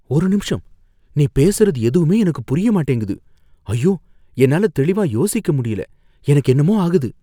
ஒரு நிமிஷம் நீ பேசுறது எதுவுமே எனக்கு புரிய மாட்டேங்குது, ஐயோ என்னால தெளிவா யோசிக்க முடியல எனக்கு என்னமோ ஆகுது?